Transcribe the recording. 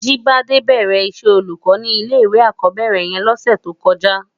Jibade bèrè iṣè ólúkò ni ilé iwé ákòbèrè yèn lòsè tókòjá